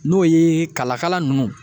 N'o ye kalakala ninnu.